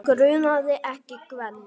Grunaði ekki Gvend.